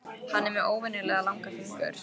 Hann er með óvenjulega langa fingur.